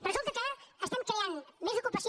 resulta que creem més ocupació